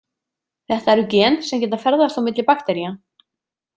Þetta eru gen sem geta ferðast á milli baktería.